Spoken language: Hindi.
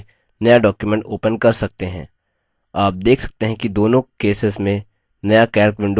आप देख सकते हैं कि दोनों केसेस में नया calc window opens होता है